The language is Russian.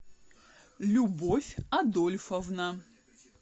любовь адольфовна